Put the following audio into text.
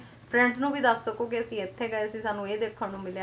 friends ਨੂੰ ਵੀ ਦੱਸ ਸਕੋ ਕੇ ਅਸੀਂ ਇੱਥੇ ਗਏ ਸੀ ਸਾਨੂੰ ਇਹ ਦੇਖਣ ਨੂੰ ਮਿਲਿਆ ਹਨਾਂ